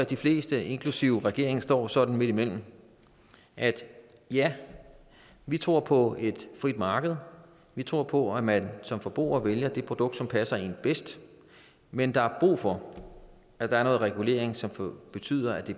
de fleste inklusive regeringen står sådan midtimellem altså at ja vi tror på et frit marked vi tror på at man som forbruger vælger det produkt som passer en bedst men der er brug for at der er noget regulering som som betyder at det